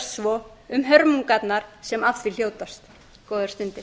svo hörmungarnar sem af því hljótast góðar stundir